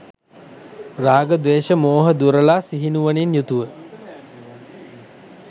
රාග, ද්වේෂ මෝහ දුරලා සිහිනුවණින් යුතුව